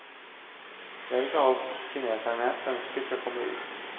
Det er ikke alt kineserne ønsker skal komme ut.